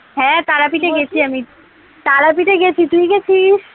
হ্যাঁ তারাপীঠ এ গেছি আমি তারাপীঠ এ গেছি তুই গেছিস?